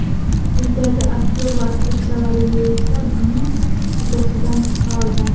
Quyidagi aktyor va aktrisalar esa buning uddasidan chiqa olgan.